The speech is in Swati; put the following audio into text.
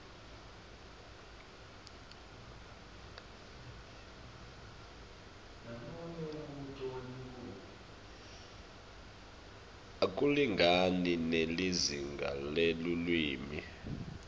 akulingani nelizinga lelulwimi